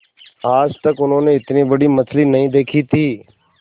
आज तक उन्होंने इतनी बड़ी मछली नहीं देखी थी